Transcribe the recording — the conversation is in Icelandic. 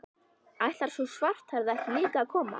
Ætlar sú svarthærða ekki líka að koma?